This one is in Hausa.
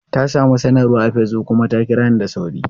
Ta samu sanarwa a Facebook kuma ta kira ni da sauri.